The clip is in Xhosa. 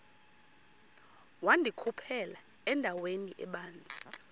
wandikhuphela endaweni ebanzi